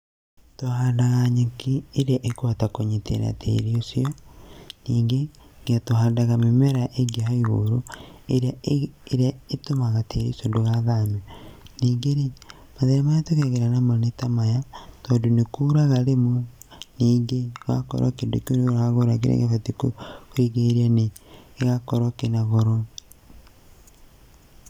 Tũhandaga nyeki ĩrĩa ĩkũhota kũnyitĩrĩra tĩri ũcio. Ningĩ tuhandaga mimera ĩngĩ ya igũrũ ĩrĩa ĩtũmaga tĩri ũcio ndũgathame. Ningĩ rĩ mathĩna marĩa tũgeragĩra namo nĩ ta maya, tondũ nĩ kuraga rĩmwe nĩngĩ ũgakora kĩndũ kĩu we ũragũra kĩrĩa gĩbatiĩ kũrigĩrĩria nĩ gĩgakorwo kĩna goro.